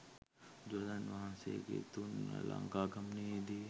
බුදුරජාණන් වහන්සේගේ තුන්වන ලංකා ගමනයේදි